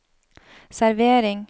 servering